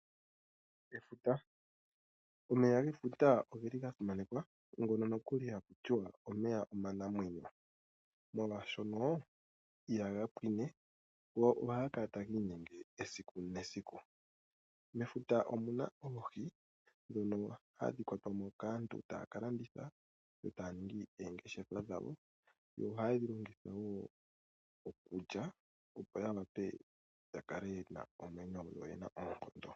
Efuta, omeya gefuta ogeli ga simanekwa ngono nokuli haku tiwa omeya omanamwenyo, molwaashono ihaga pwini go ohaga kala taga inyenge esiku nesiku. Mefuta omuna oohi ndhono hadhi kwatwa mo kaantu taya ka landitha etaya ningi eengeshefa dhawo. Yo ohaye dhi longitha wo okulya opo ya wape ya kale yena omwenyo noyena oonkondo.